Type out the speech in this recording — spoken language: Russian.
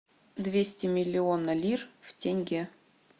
двести миллиона лир в тенге